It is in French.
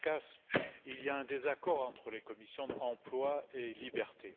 Cercas, il y a un désaccord entre les commissions emploi et libertés.